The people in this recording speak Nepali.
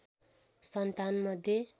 सन्तान मध्ये